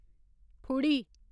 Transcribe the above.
फुड़ी